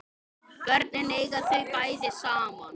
Börnin eiga þau bæði saman